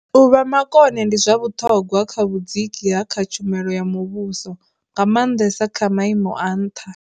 U vha makone ndi zwa vhuṱhogwa kha vhudziki ha kha tshumelo ya muvhuso, nga maanḓesa kha maimo a nṱha.